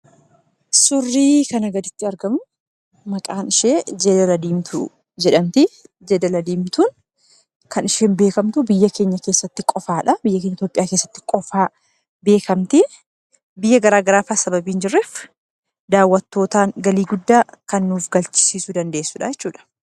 Suurri kana gaditti argamu, maqaan ishee jeedala diimtuu jedhamti. Jeedalli diimtuun kan isheen beekamtu biyya keenya Itoophiyaa keessaatti qofaa beekamti. Biyya gara garaafaa waan hinjirreef daawwattootaan galii guddaa kan nuuf argamsiisuu dandeessu jechuudha.